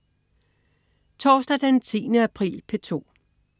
Torsdag den 10. april - P2: